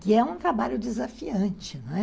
que é um trabalho desafiante, não é?